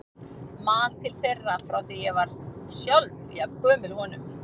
Man til þeirra frá því ég var sjálf jafn gömul honum.